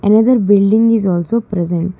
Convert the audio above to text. another building is also present.